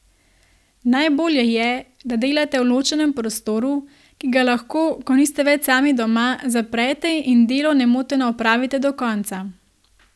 Najbolje je, da delate v ločenem prostoru, ki ga lahko, ko niste več sami doma, zaprete in delo nemoteno opravite do konca.